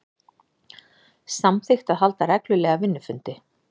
Samþykkt að halda reglulega vinnufundi